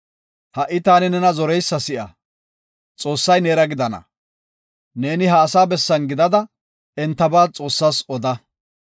Ha77i taani nena zoreysa si7a; Xoossay neera gidana. Neeni ha asaa bessan gidada entaba Xoossas oda.